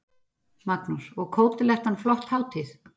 Magnús: Og Kótelettan flott hátíð?